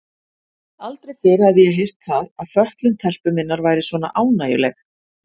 Aldrei fyrr hafði ég heyrt það að fötlun telpu minnar væri svona ánægjuleg.